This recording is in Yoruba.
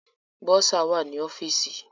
Bọ́sà wà ní ọ́fìsì.